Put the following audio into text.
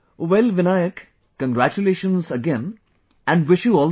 Well, Vinayak, congratulations again and wish you all the